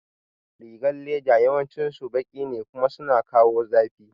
Rigar leda yawancin su baki ne kuma suna kawo zafi